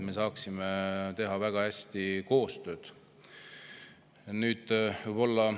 Me saaksime väga hästi koostööd teha.